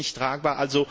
Das ist nicht tragbar.